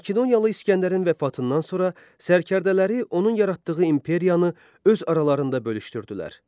Makedoniyalı İskəndərin vəfatından sonra sərkərdələri onun yaratdığı imperiyanı öz aralarında bölüşdürdülər.